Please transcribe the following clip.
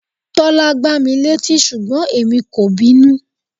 Tọ́lá gbá mi létí ṣùgbọ́n èmi kò bínú.